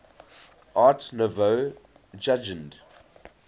art nouveau jugend